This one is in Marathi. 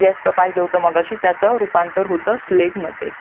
गॅस च पहिलं होतं मघाशी त्याचा रूपांतर होत स्लश मध्ये